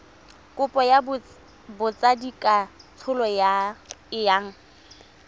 kopo ya botsadikatsholo e yang